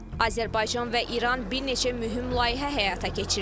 Azərbaycan və İran bir neçə mühüm layihə həyata keçirir.